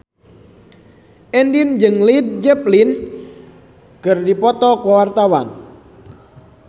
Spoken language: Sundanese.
Andien jeung Led Zeppelin keur dipoto ku wartawan